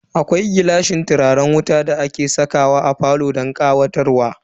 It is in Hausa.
Akwai gilashin turaren wuta da ake sakawa a falo don ƙawatarwa.